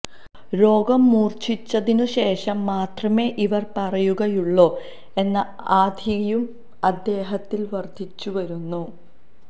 രോഗം മൂര്ച്ഛിച്ചതിനുശേഷം മാത്രമേ ഇവര് പറയുകയുള്ളോ എന്ന ആധിയും അദ്ദേഹത്തില് വർധിച്ചുവരുന്നു